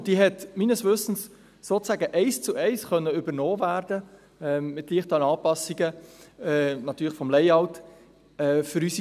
Meines Wissens konnte diese sozusagen eins zu eins von unseren Strassenverkehrsämtern übernommen werden, natürlich mit leichten Anpassungen des Layouts.